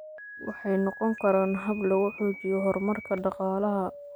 Waxay noqon karaan hab lagu xoojiyo horumarka dhaqaalaha.